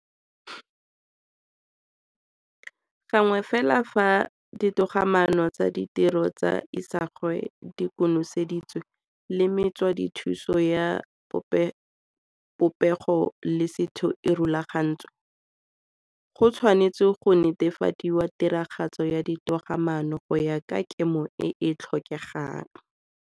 Gangwe fela fa ditogamaano tsa ditiro tsa isagwe di koneseditswe le metswedithuso ya popego le setho e rulagantswe, go tshwanetse go netefadiwe tiragatso ya ditogamaano go ya ka kemo e e tlhokegang.